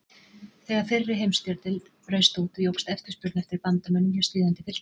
Þegar fyrri heimstyrjöldin braust út jókst eftirspurn eftir bandamönnum hjá stríðandi fylkingum.